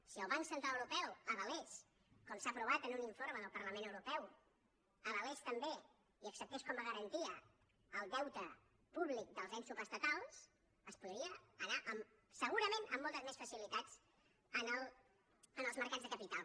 si el banc central europeu com s’ha aprovat en un informe del parlament europeu avalés també i acceptés com a garantia el deute públic dels ens subestatals es podria anar segurament amb moltes més facilitats als mercats de capital